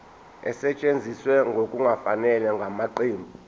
esetshenziswe ngokungafanele ngamaqembu